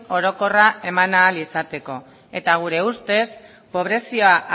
orokorra eman ahal izateko eta gure ustez